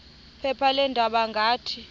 phepha leendaba ngathi